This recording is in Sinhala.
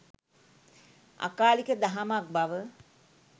අකාලික දහමක් බව